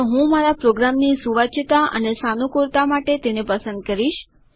તો હું મારા પ્રોગ્રામની સુવાચ્યતા અને સાનુકૂળતા માટે તેને પસંદ કરીશ